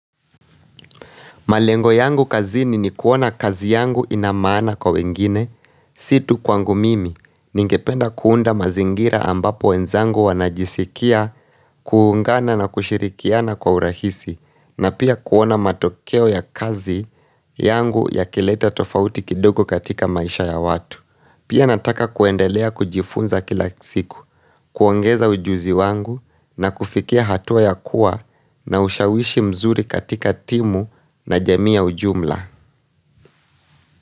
Malengo yangu kazini ni kuona kazi yangu inamaana kwa wengine, siotu kwangu mimi, ningependa kuunda mazingira ambapo wenzangu wanajisikia kuungana na kushirikiana kwa urahisi, na pia kuona matokeo ya kazi yangu ya kileta tofauti kidogo katika maisha ya watu. Pia nataka kuendelea kujifunza kila siku, kuongeza ujuzi wangu na kufikia hatua ya kuwa na ushawishi mzuri katika timu na jamii ya ujumla.